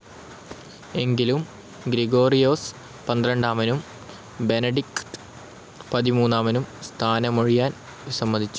എങ്കിലും ഗ്രിഗോറിയോസ് പന്ത്രണ്ടാമനും ബെനഡിക്ട് പതിമൂന്നാമനും സ്ഥാനമൊഴിയാൻ വിസമ്മതിച്ചു.